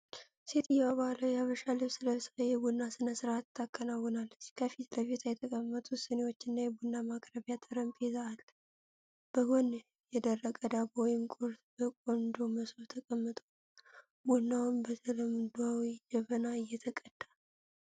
ሴትዮዋ ባህላዊ የሐበሻ ልብስ ለብሳ፣ የቡና ሥነ ሥርዓት ታከናውናለች። ከፊት ለፊቷ የተቀመጡት ሲኒዎችና የቡና ማቅረቢያ ጠረጴዛ አለ። በጎን የደረቀ ዳቦ ወይም ቁርስ በቆንጆ መሶብ ተቀምጦ፣ ቡናውም በተለምዷዊ ጀበና እየተቀዳ ነው።